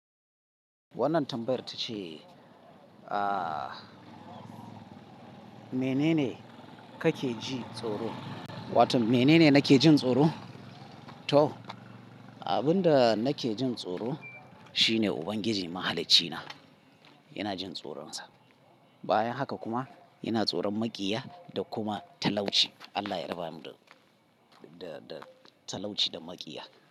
Wannan tambayar ta ce, ah, mene ne ka ke ji tsoro? Wato mene ne nake jin tsoro? To, abin da nake jin tsoro shine Ubangiji Mahalicci na. Ina jin tsoron Sa. Bayan haka kuma ina tsoron maƙiya da kuma talauci. Allah ya raba ni da, da, da talauci da maƙiya.